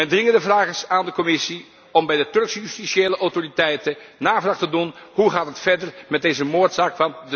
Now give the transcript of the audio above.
Mijn dringende vraag is aan de Commissie om bij de Turkse justitiële autoriteiten navraag te doen hoe gaat het verder met deze moordzaak?